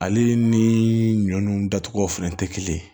Ale ni ɲɔ nunnu datuguw fɛnɛ te kelen ye